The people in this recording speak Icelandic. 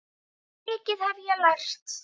Svo mikið hef ég lært.